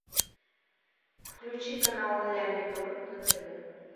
включи канал ля минор на тв